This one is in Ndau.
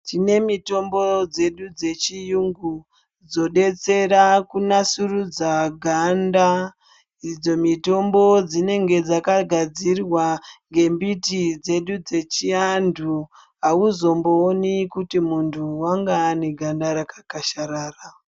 Tine mutombo dzedu chechiyingu dzodersera kunatsurudza ganda idzo mitombo dzine dzakagadzirwa nde mbiti dzechi antu hauzombooni kuti muntu anga ane ganda rakakasharara.